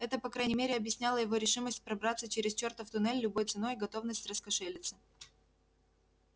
это по крайней мере объясняло его решимость пробраться через чёртов туннель любой ценой и готовность раскошелиться